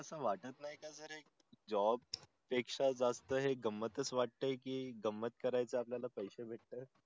अस वाटत नाही का सर job पेक्षा जास्त हे गमतच वाटत कि गमत करायेचे आपल्याला पैसे भेट तय